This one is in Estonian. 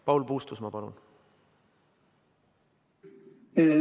Paul Puustusmaa, palun!